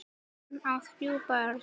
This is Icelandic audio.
Hann á þrjú börn.